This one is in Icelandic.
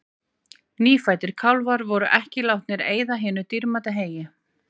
Nýfæddir kálfar voru ekki látnir eyða hinu dýrmæta heyi.